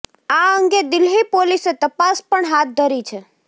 આ અંગે દિલ્હી પોલીસે તપાસ પણ હાથ ધરી છે